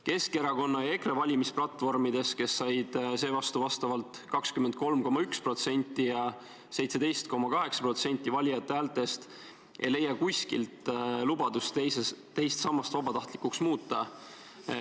Keskerakonna ja EKRE valimisplatvormides, kes said seevastu vastavalt 23,1% ja 17,8% valijate häältest, ei leia kuskilt lubadust teine sammas vabatahtlikuks muuta.